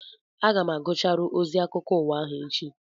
Aga m agụcharụ ozi akwụkwọ akụkọ ụwa ahụ echi